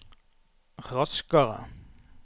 raskere